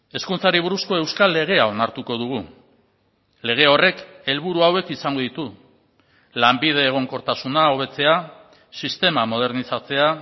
hezkuntzari buruzko euskal legea onartuko dugu lege horrek helburu hauek izango ditu lanbide egonkortasuna hobetzea sistema modernizatzea